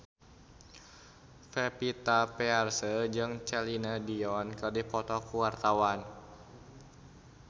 Pevita Pearce jeung Celine Dion keur dipoto ku wartawan